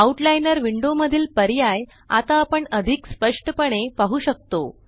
out liner window मधील पर्याय आता आपण अधिक स्पष्टपणे पाहु शकतो